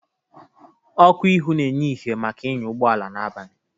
Ọkụ ihu na-enye ihe maka ịnya ụgbọala n'abalị.